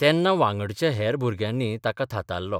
तेन्ना वांगडच्या हेर भुरग्यांनी ताका थातारलो.